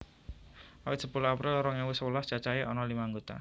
Awit sepuluh April rong ewu sewelas cacahé ana lima anggota